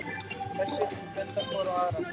Hersveitirnar benda hvor á aðra